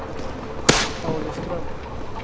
Pauliström